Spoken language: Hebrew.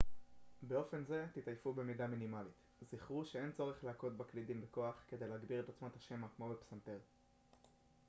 באופן זה תתעייפו במידה מינימלית זכרו שאין צורך להכות בקלידים בכוח כדי להגביר את עוצמת השמע כמו בפסנתר